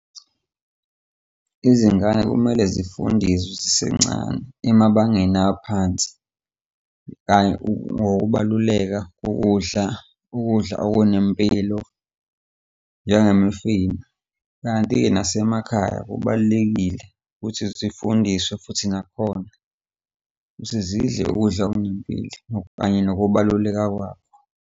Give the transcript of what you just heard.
Izingane kumele zifundiswe zisencane emabangeni aphansi kanye ngokubaluleka kokudla, ukudla okunempilo njengemifino. Kanti-ke nasemakhaya kubalulekile ukuthi zifundiswe futhi nakhona ukuthi zidle ukudla okunempilo kanye nokubaluleka kwako.